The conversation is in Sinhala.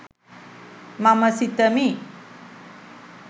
මම සිතමි.